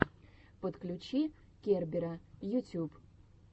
подключи кербера ютюб